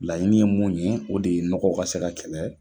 Laɲini ye mun ye, o de ye nɔgɔ ka se ka kɛlɛ